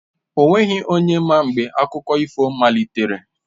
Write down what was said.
O nweghi onye ma mgbe akụkọ ifo igbo malitere